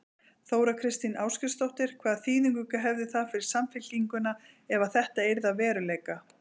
Þóra Kristín Ásgeirsdóttir: Hvaða þýðingu hefði það fyrir Samfylkinguna ef að þetta yrði að veruleika?